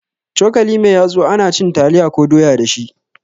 Cokali mai yatsu ana cin taliya ko doya dashi